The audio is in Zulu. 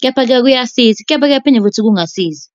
kepha-ke kuyasiza, kepha-ke kuphinde futhi kungasizi.